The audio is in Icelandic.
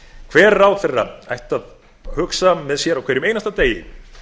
hver ráðherra ætti að hugsa með sér á hverjum einasta degi